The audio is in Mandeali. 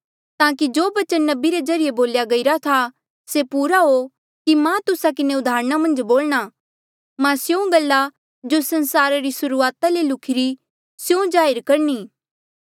ताकि जो बचन नबी रे ज्रीए बोल्या गईरा था से पूरा हो कि मां तुस्सा किन्हें उदाहरणा मन्झ बोलणा मां स्यों गल्ला जो संसारा री सुर्हूआता ले लुख्ही री रही स्यों जाहिर करणी